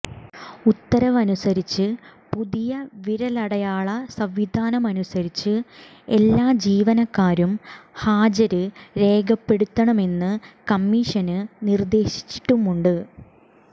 ഉത്തരവനുസരിച്ച് പുതിയ വിരലടയാള സംവിധാനമനുസരിച്ച് എല്ലാ ജീവനക്കാരും ഹാജര് രേഖപ്പെടുത്തണമെന്ന് കമ്മീഷന് നിര്ദേശിച്ചിട്ടുമുണ്ട്